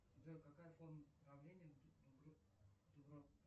джой какая форма правления